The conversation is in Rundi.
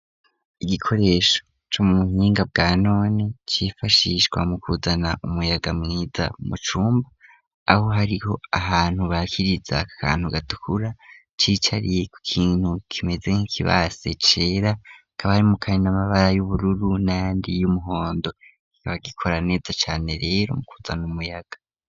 Igikoresho co mu buhinga bwa none cifashishwa mu kuzana umuyaga mwiza mu cumbu aho hariho ahantu bakiriza akantu gatukura cicariye ku kintu kimeze nk'ikibase cera hakaba harimwo kandi n'amabara y'ubururu n'ayandi y'umuhondo kikaba gikora neza cane rero mu kuzana umuyaga.